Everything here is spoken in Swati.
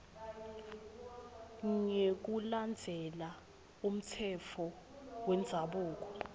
ngekulandzela umtsetfo wendzabuko